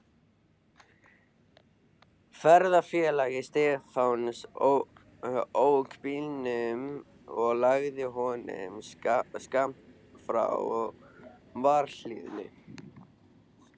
Ferðafélagi Stefáns ók bílnum og lagði honum skammt frá varðhliðinu.